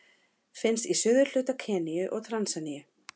Finnst í suðurhluta Keníu og Tansaníu.